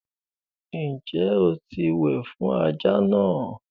Ǹjẹ́ o ti wẹ̀ fún ajá náà?